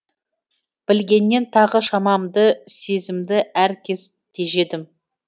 білгеннен тағы шамамды сезімді әр кез тежедім